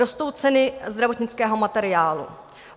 Rostou ceny zdravotnického materiálu.